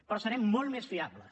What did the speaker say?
però serem molt més fiables